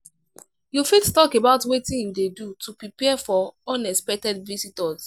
you fit talk about wetin you dey do to prepare for unexpected visitors?